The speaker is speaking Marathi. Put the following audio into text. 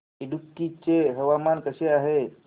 इडुक्की चे हवामान कसे आहे